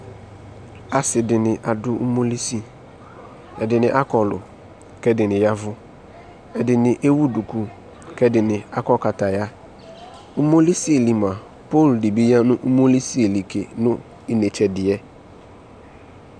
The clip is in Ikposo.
Ase de ne ado umolisi Ɛdene akɔlu ko ɛdene yavu Ɛdene ewu duku ko ɛdene akɔ kataya Umolie li moa, pole de be ya no umolisie li ke no inetse ɛdeɛ